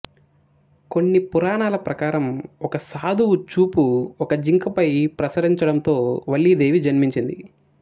కొన్ని పురాణాల ప్రకారం ఒక సాధువు చూపు ఒక జింకపై ప్రసరించడంతో వల్లీదేవి జన్మించింది